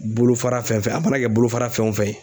Bolofara fɛn fɛn a mana kɛ bolofara fɛn o fɛn ye.